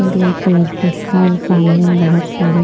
grey colour की और सामने बहुत सारे--